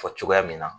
Fɔ cogoya min na